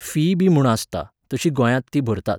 Fee बी म्हूण आसता, तशी गोंयांत ती भरतात.